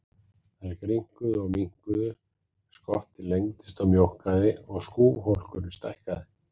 Þær grynnkuðu og minnkuðu, skottið lengdist og mjókkaði og skúfhólkurinn stækkaði.